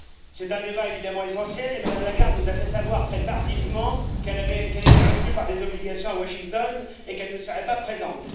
C'est un débat évidemment essentiel et Mme Lagarde nous a fait savoir très tardivement qu'elle était retenue par des obligations à Washington et qu'elle ne serait pas présente.